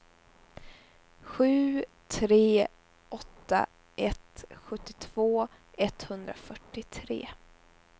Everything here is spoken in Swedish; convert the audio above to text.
sju tre åtta ett sjuttiotvå etthundrafyrtiotre